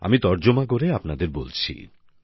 আমি তর্জমা করে আপনাদের বলছি